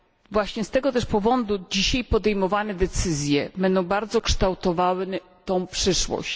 Właśnie z tego powodu dzisiaj podejmowane decyzje będą bardzo kształtowały przyszłość.